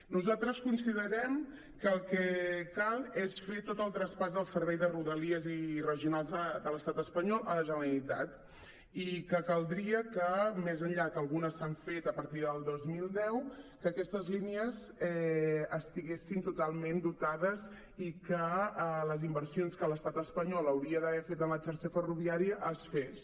nosaltres considerem que el que cal és fer tot el traspàs del servei de rodalies i regionals de l’estat espanyol a la generalitat i que caldria que més enllà que algunes s’han fet a partir del dos mil deu aquestes línies estiguessin totalment dotades i que les inversions que l’estat espanyol hauria d’haver fet en la xarxa ferroviària es fessin